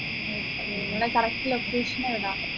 okay നിങ്ങളെ correct location എവിടാ